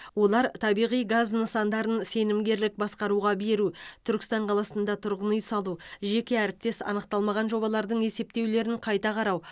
олар табиғи газ нысандарын сенімгерлік басқаруға беру түркістан қаласында тұрғын үй салу жеке әріптес анықталмаған жобалардың есептеулерін қайта қарау